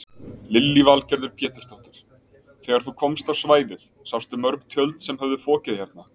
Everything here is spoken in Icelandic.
Lillý Valgerður Pétursdóttir: Þegar þú komst á svæðið sástu mörg tjöld sem höfðu fokið hérna?